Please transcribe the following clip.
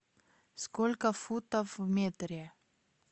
сколько футов в метре